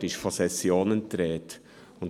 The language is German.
Dort ist von «Sessionen» die Rede.